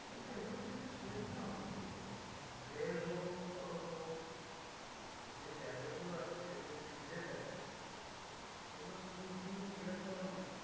হ্যাঁ এগুলোর জন্যে step নেওয়া উচিত অন্তত। রেল হোক, সড়ক হোক, যে জায়গাগুলো আছে সেগুলো যদি ঘিরে থাকে, সেগুলো পুরো উঠিয়ে clear করানো উচিত।